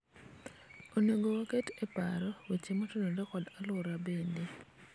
onego waket e paro weche motenore kod aluora bende